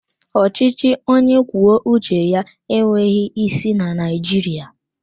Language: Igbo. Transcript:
Ọchịchị onye kwuo uche ya enweghị isi na Naijiriia